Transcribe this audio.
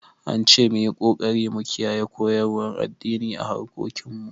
An ce mu yi ƙoƙari mu kiyaye koyarwar addini a harkokin mu